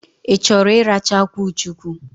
Ị chọrọ ịracha akwụ chukwu?